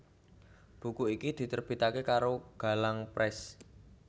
Buku iki diterbitake karo Galang Press